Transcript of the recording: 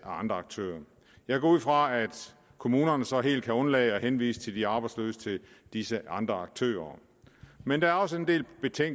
andre aktører jeg går ud fra at kommunerne så helt kan undlade at henvise de arbejdsløse til disse andre aktører men der er også en del